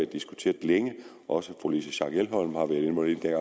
diskuteret længe også fru louise schack elholm har været involveret